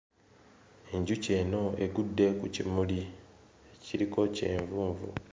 Enjuki eno egudde ku kimuli kiriko kyenvunvu.